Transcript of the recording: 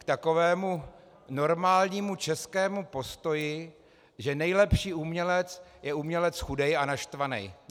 K takovému normálnímu českému postoji, že nejlepší umělec je umělec chudej a naštvanej.